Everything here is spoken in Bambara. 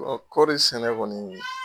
Kɔɔri sɛnɛ kɔni